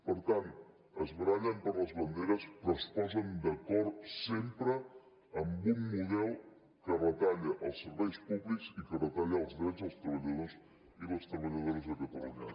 per tant es barallen per les banderes però es posen d’acord sempre amb un model que retalla els serveis públics i que retalla els drets dels treballadors i les treballadores a catalunya